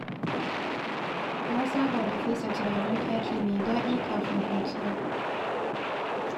Na saba da fesa turaren ɗaki mai daɗi kafin kwanciya.